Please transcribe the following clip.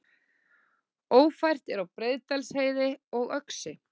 Ófært er á Breiðdalsheiði og Öxi